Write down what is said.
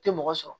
Tɛ mɔgɔ sɔrɔ